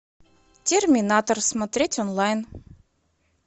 терминатор смотреть онлайн